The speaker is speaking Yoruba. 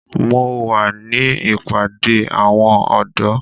Mo wà ní ìpàdé àwọn ọ̀dọ́.